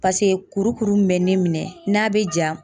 Paseke kurukuru min bɛ ne minɛ n'a be ja.